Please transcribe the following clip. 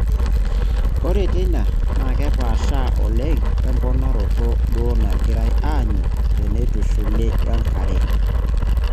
Ore teina naa kepaasha oleng wemponaroto duoo nagirai aanyu teneitushuli wenkare naitumiyaki te neitushuli eunoto.